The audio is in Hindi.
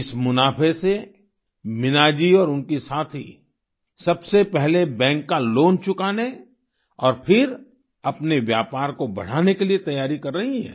इस मुनाफे से मीना जी और उनकी साथी सबसे पहले बैंक का लोन चुकाने और फिर अपने व्यापार को बढ़ाने के लिए तैयारी कर रही हैं